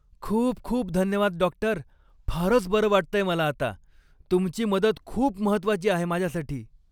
खूप खूप धन्यवाद, डॉक्टर! फारच बरं वाटतंय मला आता. तुमची मदत खूप महत्त्वाची आहे माझ्यासाठी.